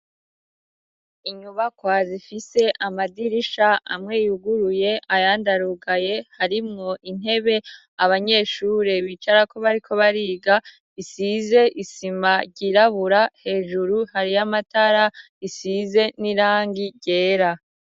inyubakwa zifise amadirisha amweyuguruye ayandi arugaye harimwo intebe abanyeshure bicarako bariko bariga isize isima ryirabura hejuru hari y'amatara asize n'irangi ryera